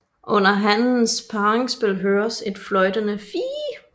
Under hannens parringsspil høres et fløjtende fiih